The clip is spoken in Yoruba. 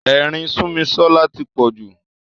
Ẹ̀rín Súnmisọ́lá tí pọ̀ jù.